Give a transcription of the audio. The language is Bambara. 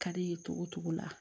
Ka d'i ye togo togo la